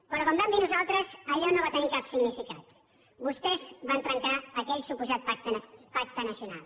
però com vam dir nosaltres allò no va tenir cap significat vostès van trencar aquell suposat pacte nacional